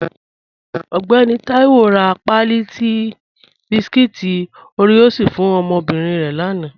Ọgbẹ̀nì Taiwo rá páàlí tí bískúít Oreos fún ọmọ́bírín rẹ̀ lána